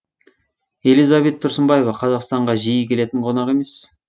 элизабет тұрсынбаева қазақстанға жиі келетін қонақ емес